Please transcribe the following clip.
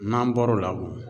N'an bɔro la dun?